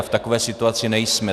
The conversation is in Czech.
A v takové situaci nejsme.